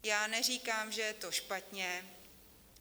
Já neříkám, že je to špatně.